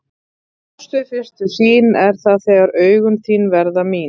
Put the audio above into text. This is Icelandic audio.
Ást við fyrstu sýn er það þegar augun þín verða mín.